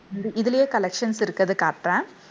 இதுலயே collections இருக்குது காட்டுறேன்